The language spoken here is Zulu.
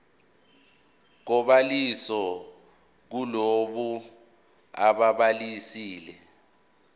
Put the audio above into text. kobhaliso kulabo ababhalisile